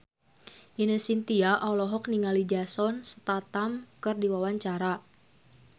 Ine Shintya olohok ningali Jason Statham keur diwawancara